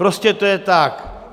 Prostě to je tak.